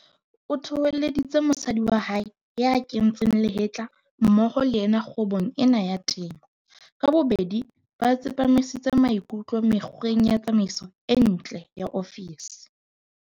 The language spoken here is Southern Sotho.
O thoholleditse mofumahadi wa hae ya kentseng lehetla mmoho le yena kgwebong ena ya temo. Ka bobedi ba tsepamisitse maikutlo mekgweng ya tsamaiso e ntle ya ofisi.